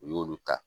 U y'olu ta